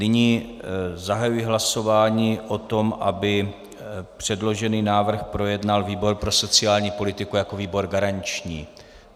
Nyní zahajuji hlasování o tom, aby předložený návrh projednal výbor pro sociální politiku jako výbor garanční.